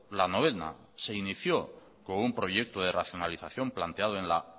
la novena se inició con un proyecto de racionalización planteado en la